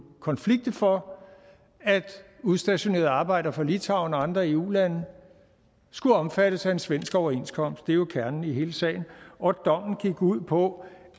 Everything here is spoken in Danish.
konflikte for at udstationerede arbejdere fra litauen og andre eu lande skulle omfattes af en svensk overenskomst det er jo kernen i hele sagen og dommen gik ud på